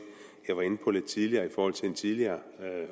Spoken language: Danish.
jeg var inde på lidt tidligere i forhold til en tidligere